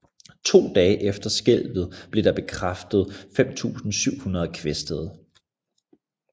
To dage efter skælvet blev der bekræftet 5700 kvæstede